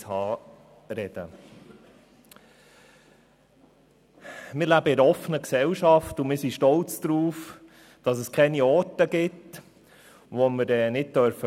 Wir leben in einer offenen Gesellschaft und sind stolz darauf, dass es keine Orte gibt, die wir nicht besuchen dürfen.